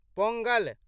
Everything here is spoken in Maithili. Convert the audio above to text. पोंगल